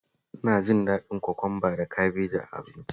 Ina jin daɗin kwakwamba da kabeji a abinci